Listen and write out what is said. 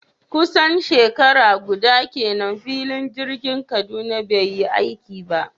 Kusan shekara guda kenan filin jirgin Kaduna bai yi aiki ba